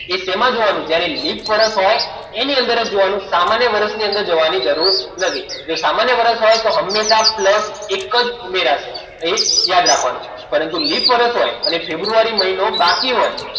એ સેમા જોવાનું જ્યારે લિપ વર્ષ હોય એની અંદર જ જોવાનું સામાન્ય વર્ષમાં જોવાની જરૂર નથી જો સામાન્ય વર્ષની અંદર હોય તો હંમેશા plus એક જ ઉમેરાશે ધ્યાન રાખવાનું પરંતુ લિપ વર્ષ હોય અને ફેબ્રુઆરી મહિનો બાકી હોય